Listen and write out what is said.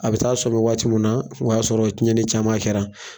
A bɛ taa sɔmi waati mun na, o y'a sɔrɔ tiɲɛni caman kɛra.